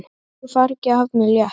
Þungu fargi af mér létt.